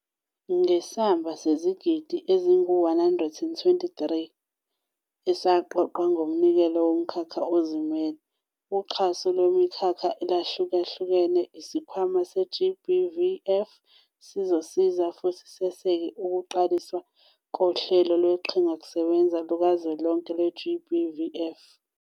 Ngesamba sezigidi eziyi-R128 esaqoqwa ngeminikelo yomkhakha ozimele, uxhaso lwemikhakha eyahluka hlukene, iSikhwama se-GBVF sizosiza futhi seseke ukuqaliswa koHlelo Lweqhingakusebenza Lukazwelonke lwe-GBVF.